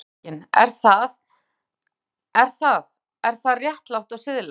Og þá er spurningin, er það, er það réttlátt og siðlegt?